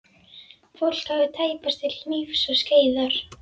Fólk hafði tæpast til hnífs og skeiðar.